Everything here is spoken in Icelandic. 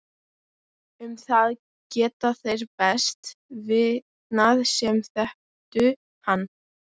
Um það geta þeir best vitnað sem þekktu hann.